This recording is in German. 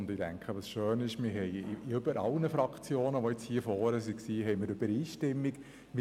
Es ist schön, dass wir zwischen allen Fraktionen, die sich hier vorne geäussert haben, eine Übereinstimmung haben.